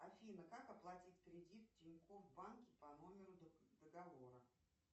афина как оплатить кредит в тинькофф банке по номеру договора